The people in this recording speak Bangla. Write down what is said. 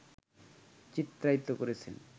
চিত্রায়িত করেছে